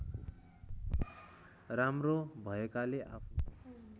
राम्रो भएकाले आफू